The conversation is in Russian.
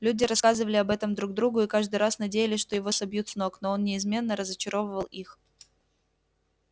люди рассказывали об этом друг другу и каждый раз надеялись что его собьют с ног но он неизменно разочаровывал их